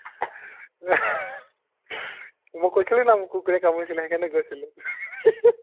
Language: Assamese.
মই কৈছিলো ন মোক কুকোৰে কামুৰিছিলে সেইকৰোনে গৈছিলো